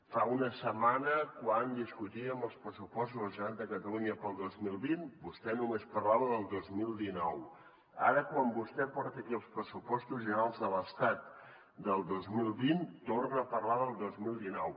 fa una setmana quan discutíem els pressupostos de la generalitat de catalunya per al dos mil vint vostè només parlava del dos mil dinou ara quan vostè porta aquí els pressupostos generals de l’estat del dos mil vint torna a parlar del dos mil dinou